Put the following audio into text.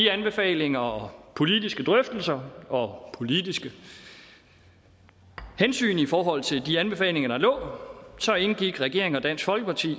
anbefalinger og politiske drøftelser og politiske hensyn i forhold til de anbefalinger der lå indgik regeringen og dansk folkeparti